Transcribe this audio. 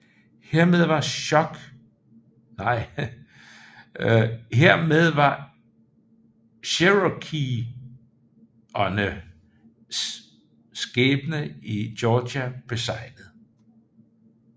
Hermed var cherokesernes skæbne i Georgia beseglet